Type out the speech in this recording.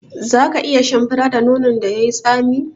Za ka iya shan fura da nonon da yai tsami?